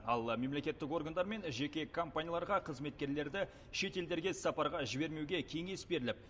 ал мемлекеттік органдар мен жеке компанияларға қызметкерлерді шетелдерге іссапарға жібермеуге кеңес беріліп